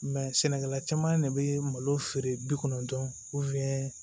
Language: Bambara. sɛnɛkɛla caman de bɛ malo feere bi kɔnɔntɔn